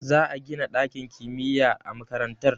Za a gina dakin kimiyya a makarantar